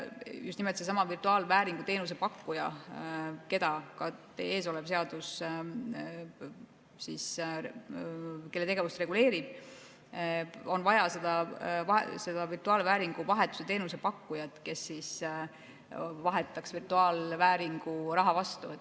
Just nimelt, on vaja sedasama virtuaalvääringu teenuse pakkujat, kelle tegevust ka teie ees olev seadus reguleerib, on vaja seda virtuaalvääringu vahetuse teenuse pakkujat, kes vahetaks virtuaalvääringu raha vastu.